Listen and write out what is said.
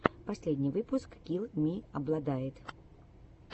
последний выпуск килл ми обладает